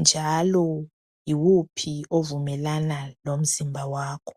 njalo yiwuphi ovumelana lomzimba wakho.